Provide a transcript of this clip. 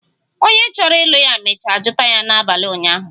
Onye chọrọ ịlụ ya mecha jụta ya n'abali ụnyahụ